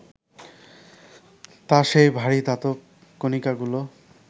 তা সেই ভারী ধাতব কণিকাগুলো